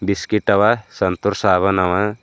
Biscuit ಅವ ಸಂತೂರ್ ಸಾಬೂನ್ ಅವ.